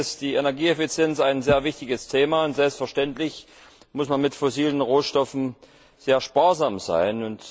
Natürlich ist die Energieeffizienz ein sehr wichtiges Thema, und selbstverständlich muss man mit fossilen Rohstoffen sehr sparsam sein.